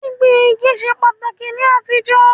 Gbíngbin igi ṣe pàtàkì ní àtijọ́